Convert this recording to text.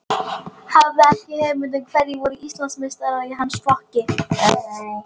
Hafði ekki hugmynd um hverjir voru Íslandsmeistarar í hans flokki.